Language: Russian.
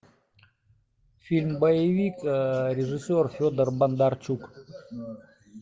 фильм боевик режиссер федор бондарчук